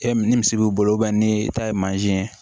E ni misi b'i bolo ni e ta ye mansin ye